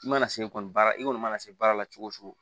I mana se kɔni baara i kɔni mana se baara la cogo o cogo